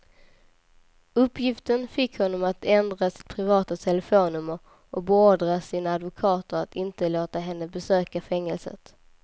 Uppgiften fick honom att ändra sitt privata telefonnummer och beordra sina advokater att inte låta henne besöka fängelset.